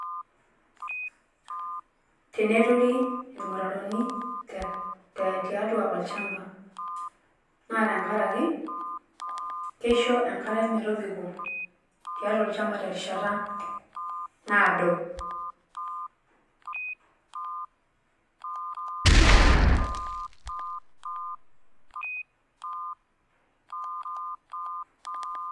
Teneturi ilmutaroni tiatua olchamba naa tenkaraki keisho enkare metobiko tiatua olchamba terishata naado.